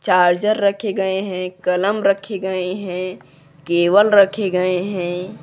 Charger रखे गए हैं कलम रखे गए हैं केबल रखे गए हैं।